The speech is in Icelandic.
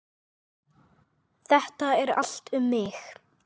Þetta er allt um mig!